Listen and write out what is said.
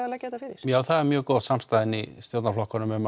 að leggja þetta fyrir já það er mjög góð samstaða í stjórnarflokkunum um